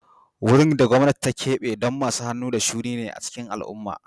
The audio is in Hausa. Wurin da gwamnati ta keɓe don masu hannu da shuni ne a cikin al'umma